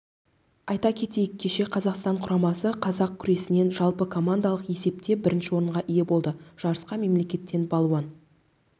айта кетейік кеше қазақстан құрамасы қазақ күресінен жалпыкомандалық есепте бірінші орынға ие болды жарысқа мемлекеттен балуан